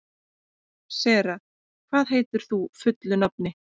Sera, hvað heitir þú fullu nafni?